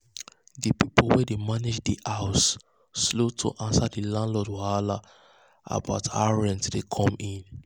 the people wey dey manage the house slow to answer the landlord wahala about how rent dey come in.